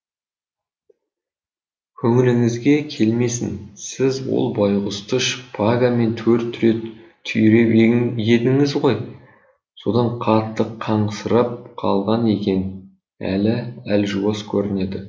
көңіліңізге келмесін сіз ол байғұсты шпагамен төрт рет түйреп едіңіз ғой содан қатты қансырап қалған екен әлі әлжуаз көрінеді